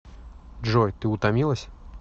джой ты утомилась